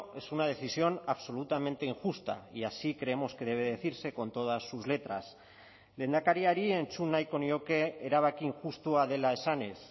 es una decisión absolutamente injusta y así creemos que debe decirse con todas sus letras lehendakariari entzun nahiko nioke erabaki injustua dela esanez